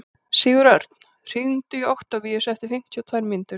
Sigurörn, hringdu í Októvíus eftir fimmtíu og tvær mínútur.